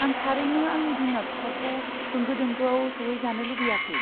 आं थारैनो आंनि बिमा बिफाखौ होंगो दोंगोआव सौहैजानो लुगैयाखै।